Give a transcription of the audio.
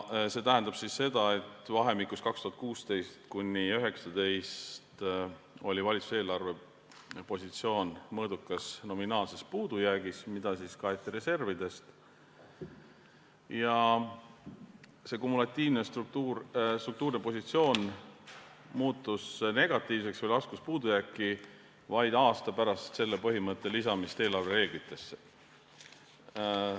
See tähendab seda, et vahemikus 2016–2019 oli valitsuse eelarvepositsioon mõõdukas nominaalses puudujäägis, mida kaeti reservidest, ja see kumulatiivne struktuurne positsioon muutus negatiivseks või laskus puudujääki vaid aasta pärast selle põhimõtte lisamist eelarvereeglitesse.